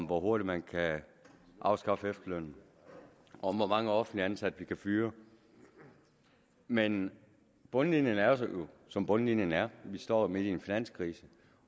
hvor hurtigt man kan afskaffe efterlønnen og hvor mange offentligt ansatte vi kan fyre men bundlinjen er jo som bundlinjen er vi står midt i en finanskrise